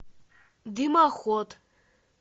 дымоход